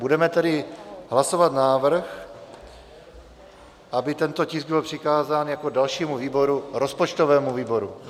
Budeme tedy hlasovat návrh, aby tento tisk byl přikázán jako dalšímu výboru rozpočtovému výboru.